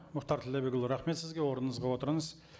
мұхтар ділдәбекұлы рахмет сізге орныңызға отырыңыз